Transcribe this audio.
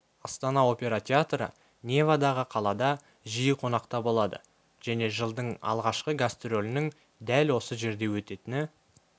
астана опера театры невадағы қалада жиі қонақта болады және жылдың алғашқы гастролінің дәл осы жерде өтетіні